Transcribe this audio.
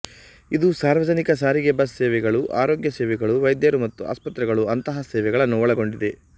ಇದು ಸಾರ್ವಜನಿಕ ಸಾರಿಗೆ ಬಸ್ ಸೇವೆಗಳು ಆರೋಗ್ಯ ಸೇವೆಗಳು ವೈದ್ಯರು ಮತ್ತು ಆಸ್ಪತ್ರೆಗಳು ಅಂತಹ ಸೇವೆಗಳನ್ನು ಒಳಗೊಂಡಿದೆ